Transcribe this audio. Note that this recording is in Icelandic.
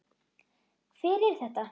Hver er þetta?